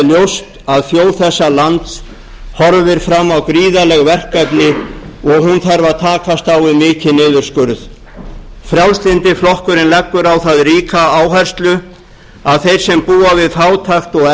ljóst að þjóð þessa lands horfir fram á gríðarleg verkefni og hún þarf að takast á við mikinn niðurskurð frjálslyndi flokkurinn leggur á það ríka áherslu að þeir sem búa við fátækt og